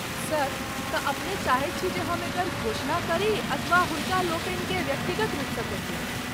Sir, तँ अपने चाहैत छी जे हम एकर घोषणा करी अथवा हुनकालोकनिकेँ व्यक्तिगत रूपसँ कहियनि?